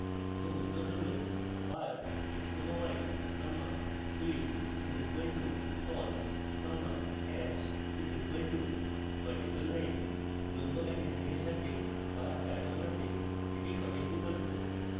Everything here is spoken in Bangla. এবং উত্তর hatch bar x comma y comma fill is equal to false comma hatch is equal to vertical line উল্লম্ব line হ্যাচিংয়ের সাথে bar chart বানাতে এটি সঠিক বিকল্প